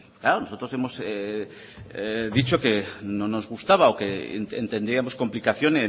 claro nosotros hemos dicho que no nos gustaba o que entendíamos complicación